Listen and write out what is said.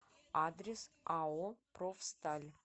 адрес ао профсталь